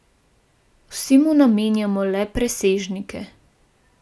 Saj veste, za dober odnos sta vedno potrebna dva!